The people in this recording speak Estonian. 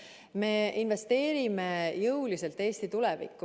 Me investeerime jõuliselt Eesti tulevikku.